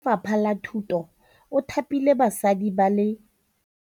Mothapi wa Lefapha la Thutô o thapile basadi ba ba raro.